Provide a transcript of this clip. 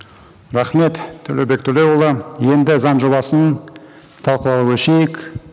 рахмет төлеубек төлеуұлы енді заң жобасын талқылауға көшейік